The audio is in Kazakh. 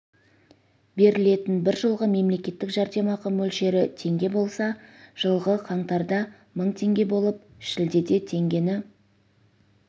берілетін бір жолғы мемлекеттік жәрдемақы мөлшері теңге болса жылғы қаңтарда мың теңге болып шілдеде теңгені